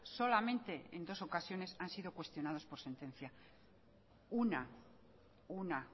solamente en dos ocasiones han sido cuestionados por sentencia una una